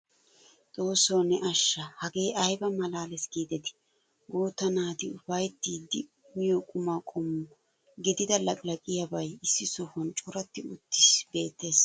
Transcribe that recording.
Xoosso ne asha! Hagee ayba maalallees giidetii! Guutta naati ufayttidi miyo qumma qommo gidida laqqilaqqiyabay issi sohuwan coratti uttiis beettees.